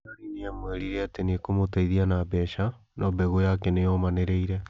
Larry nĩ aamwĩrĩire atĩ nĩ ekũmũteithia na mbeca, no "mbegũ" yake nĩ yũmanĩrĩire.